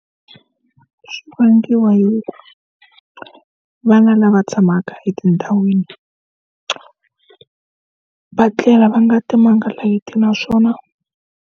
Swi vangiwa hi ku, vana lava tshamaka etindhawini va tlela va nga timanga layiti naswona.